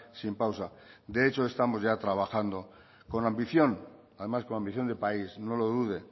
sin pausa de hecho estamos ya trabajando con ambición además con ambición de país no lo dude